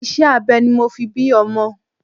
Iṣẹ́ abẹ ni mo fi bí ọmọ.